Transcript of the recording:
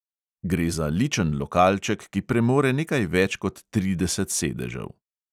Gre za ličen lokalček, ki premore nekaj več kot trideset sedežev.